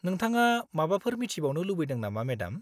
-नोंथाङा माबाफोर मिथिबावनो लुबैदों नामा, मेडाम?